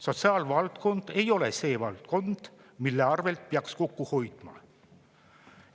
Sotsiaalvaldkond ei ole see valdkond, mille arvelt peaks kokku hoidma.